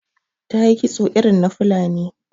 Ta yi kitso irin na Fulani.